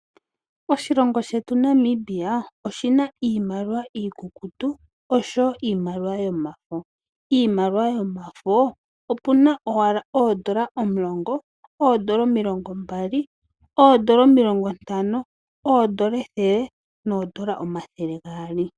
Oshilongo shetu Namibia oshina iimaliwa iikukutu oshowo iimaliwa yomafo. Iimaliwa yomafo opuna owala oodola omulongo, oodola omilongo mbali, oodola omilongo ntano, oodola ethele noodola omathele gaali.